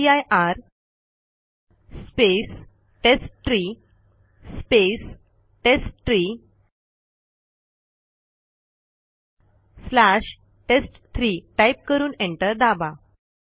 mkdir space test tree space test tree slash test three type करून enter दाबा